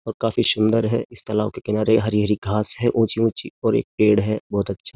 और काफी सुंदर है इस तालाब के किनारे हरी-हरी घास है ऊंची-ऊंची और एक पेड़ है बहुत अच्छा।